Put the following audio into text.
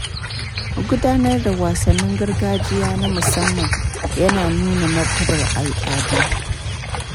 Gudanar da wasannin gargajiya na musamman ya na nuna martabar al’adu.